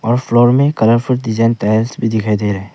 और फ्लोर में colourful design tiles भी दिखाई दे रहा है।